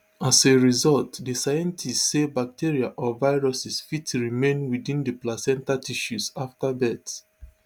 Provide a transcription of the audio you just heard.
as a result di scientists say bacteria or viruses fit remain within di placenta tissues afta birth